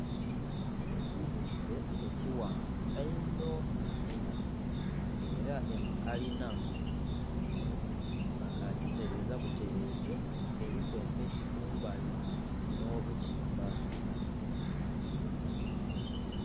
Ekizimbe ekighanvu einho einho, ng"era enho kalina. Bakagiteleeza buteleeze, eliku emiti kumbali, nh'obutimba.